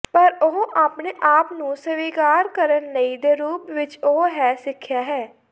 ਪਰ ਉਹ ਆਪਣੇ ਆਪ ਨੂੰ ਸਵੀਕਾਰ ਕਰਨ ਲਈ ਦੇ ਰੂਪ ਵਿੱਚ ਉਹ ਹੈ ਸਿੱਖਿਆ ਹੈ